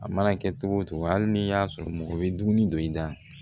A mana kɛ cogo o cogo hali n'i y'a sɔrɔ mɔgɔ bɛ dumuni dɔ i da